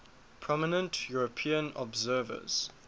prominent european observers